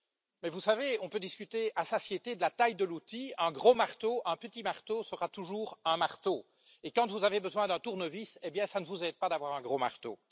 Mais vous savez, on peut discuter à satiété de la taille de l'outil un gros marteau, un petit marteau sera toujours un marteau, et quand vous avez besoin d'un tournevis, hé bien ça ne vous aide pas d'avoir un gros marteau.